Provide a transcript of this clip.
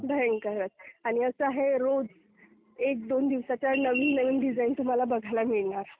भयंकर आहेत आणि असं आहे, रोज एक दोन दिवसात नवीन नवीन डिझाइन तुम्हाला बघायला मिळणार.